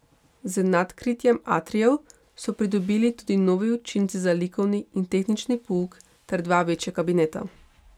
Z nadkritjem atrijev so pridobili tudi novi učilnici za likovni in tehnični pouk ter dva večja kabineta.